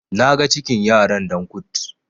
naga cikin yaran Dan kut